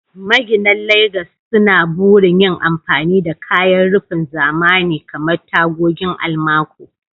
Maginan Legas suna burin yin amfani da kayan rufin zamani kamar tagogin almaco.